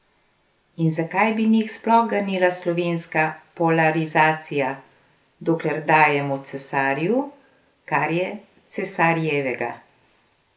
In zakaj bi njih sploh ganila slovenska polarizacija, dokler dajemo cesarju, kar je cesarjevega?